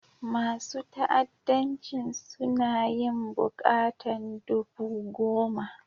Masun fa'addancin suna yin bukatan dubu goma.